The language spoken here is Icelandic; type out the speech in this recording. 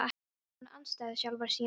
Í honum var hún andstæða sjálfrar sín.